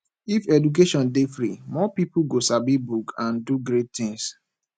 if education dey free more pipo go sabi book and do great things